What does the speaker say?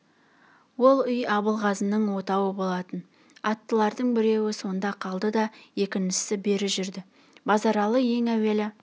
ол үй абылғазының отауы болатын аттылардың біреуі сонда қалды да екіншісі бері жүрді базаралы ең әуелі